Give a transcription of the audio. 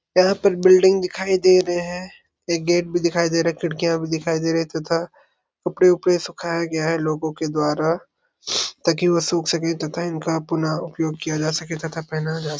यहाँ पर बिल्डिंग दिखाई दे रे है एक गेट भी दिखाई दे रहा खिड़कियाँ भी दिखाई दे रहे तथा कपड़े- उपड़े सुखाया गया है लोगों के द्वारा ताकि वो सुख सके तथा इनका अपना उपयोग किया जा सके तथा पेहना जा सके --